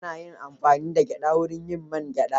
Ana yin amfani da gyada wurin yin man gyada.